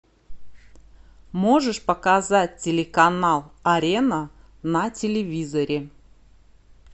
можешь показать телеканал арена на телевизоре